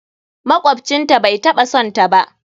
Makwabcin ta bai taɓa son ta ba